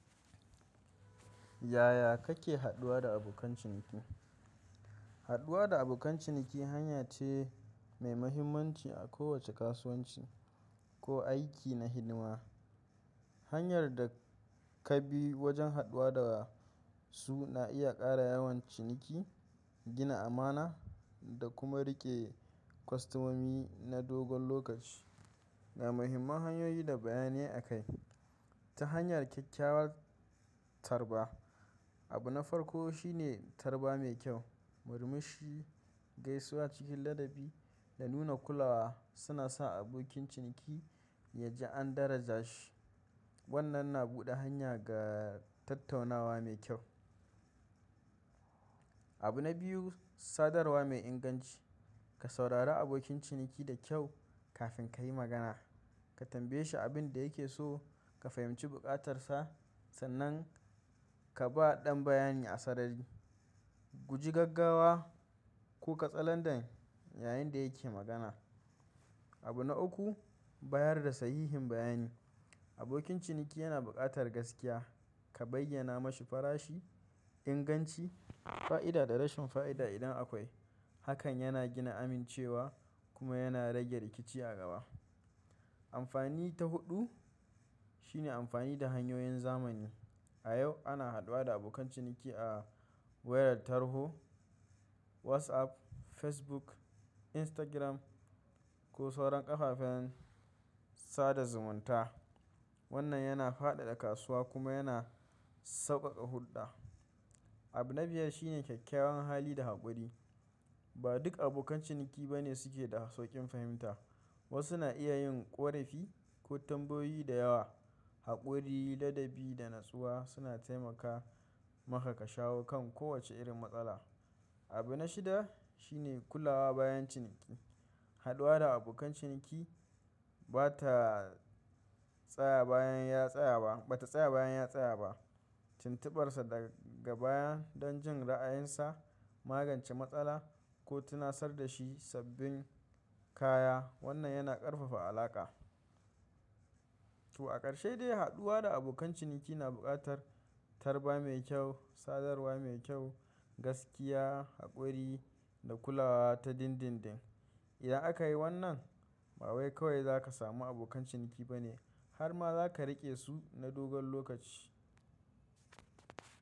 Yaya kake haɗuwa da abokan ciniki? Haɗuwa da abokan ciniki hanya ce mai mahimmanci a kowace kasuwanci ko aiki na hidima. Hanyar da ka bi wajen haɗuwa da su na iya ƙara yawan ciniki, gina amana da kuma riƙe kwastomomi na dogon lokaci. Ga muhimman hanyoyi da bayanai akai. Ta hanyar kyakkyawar tarba. Abu na farko shine tarba mai kyau, murmushi, gaisuwa cikin ladabi da nuna kulawa suna sa abokin ciniki ya ji an daraja shi. Wannan na buɗe hanya ga tattaunawa mai kyau. Abu na biyu, sadarwa mai inganci. Ka saurari abokin ciniki da kyau kafin ka yi magana. Ka tambaye shi abin da yake so ka fahimci bukatarsa. Sannan ka ba ɗan bayani asarari. Guji gaggawa ko Katsalandan yayinda da yake magana. Abu na uku, bayar da sahihin bayani. Abokin ciniki yana buƙatar gaskiya. Ka bayyana ma shi farashi, inganci, fa'ida da rashin fa'ida idan akwai. Hakan yana gina amincewa kuma yana rage rikici a gaba. Amfani ta huɗu shine amfani da hanyoyin zamani. A yau ana haɗuwa da abokan ciniki a wayar tarho, WhatsApp, Facebook, Instagram ko sauran ƙafafen sada zumunta. Wannan yana faɗaɗa kasuwa kuma yana sauƙaƙa hulɗa. Abu na biyar shine kyakkyawan hali da haƙuri. Ba duk abokan ciniki ba ne suke da sauƙin fahimta. Wasu na iya yin ƙorafi ko tambayoyi da yawa. Haƙuri, ladabi da natsuwa suna taimaka maka ka shawo kan kowace irin matsala. Abu na shida shine kulawa bayan ciniki. Haɗuwa da abokan ciniki bata tsaya bayan ya tsaya ba, bata tsaya bayan ya tsaya ba. Tuntuɓar sa daga baya don jin ra'ayinsa, magance matsala ko tunatar da shi sabbin kaya. Wannan yana ƙarfafa alaƙa. To a ƙarshe dai haɗuwa da abokan ciniki na buƙatar tarba mai kyau, sadarwa mai kyau, gaskiya, haƙuri da kulawa ta dindindin. Idan aka yi wannan ba wai kawai za ka samu abokan ciniki bane har ma za ka riƙe su na dogon lokaci.